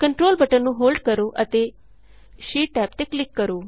control button ਨੂੰ hold ਕਰੋ ਅਤੇ ਸ਼ੀਟ ਟੈਬ ਤੇ ਕਲਿਕ ਕਰੋ